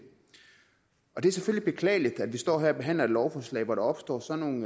det er selvfølgelig beklageligt at vi står her og behandler et lovforslag hvor der opstår sådan